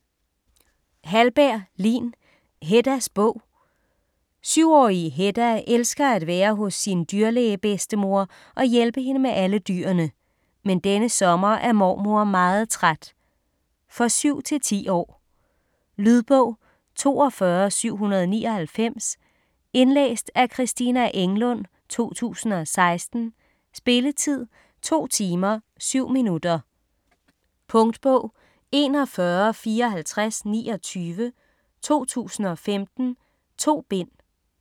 Hallberg, Lin: Heddas bog 7-årige Hedda elsker at være hos sin dyrlæge-bedstemor og hjælpe hende med alle dyrene. Men denne sommer er mormor meget træt. For 7-10 år. Lydbog 42799 Indlæst af Christina Englund, 2016. Spilletid: 2 timer, 7 minutter. Punktbog 415429 2015. 2 bind.